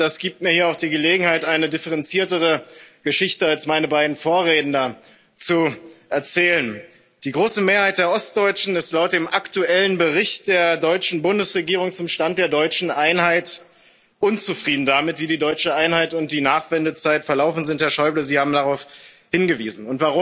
Das gibt mir auch die Gelegenheit, hier eine differenziertere Geschichte als meine beiden Vorredner zu erzählen. Die große Mehrheit der Ostdeutschen ist laut dem aktuellen Bericht der deutschen Bundesregierung zum Stand der deutschen Einheit unzufrieden damit, wie die deutsche Einheit und die Nachwendezeit verlaufen sind Herr Schäuble, Sie haben darauf hingewiesen.